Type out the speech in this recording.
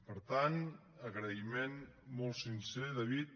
per tant agraïment molt sincer david